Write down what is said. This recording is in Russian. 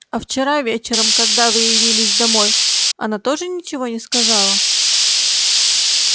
а вчера вечером когда вы явились домой она тоже ничего не сказала